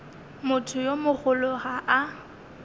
motho yo mogolo ga a